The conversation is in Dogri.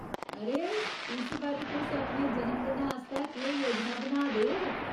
अरे, इस बारी तुस अपने जनमदिनै आस्तै केह्‌ योजना बनाऽ दे ओ ?